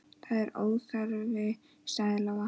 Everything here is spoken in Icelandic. Það er óþarfi, sagði Lóa.